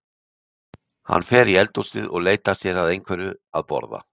Hann fer í eldhúsið og leitar sér að einhverju að borða.